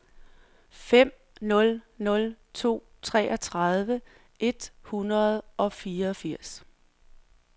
fem nul nul to treogtredive et hundrede og fireogfirs